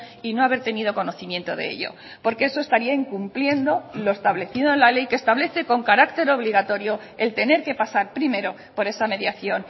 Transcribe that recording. y no haber tenido conocimiento de ello porque eso estaría incumpliendo lo establecido en la ley que establece con carácter obligatorio el tener que pasar primero por esa mediación